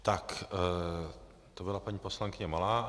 Tak to byla paní poslankyně Malá.